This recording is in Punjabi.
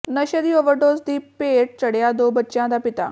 ਨਸ਼ੇ ਦੀ ਓਵਰਡੋਜ਼ ਦੀ ਭੇਟ ਚੜ੍ਹਿਆ ਦੋ ਬੱਚਿਆਂ ਦਾ ਪਿਤਾ